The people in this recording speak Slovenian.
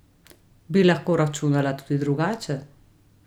Bi lahko računala tudi drugače?